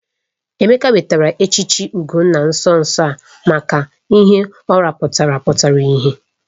Emeka nwetara echichi Ugonna nso nso a maka ihe ọ rụpụtara pụtara ìhè.